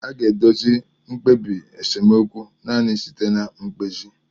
A ga-edozi mkpebi nsemokwu naanị site na mkpezi.